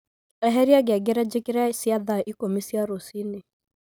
eheria ngengere jikere cia thaa ikũmi cia rũcinĩ